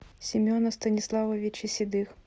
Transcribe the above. семена станиславовича седых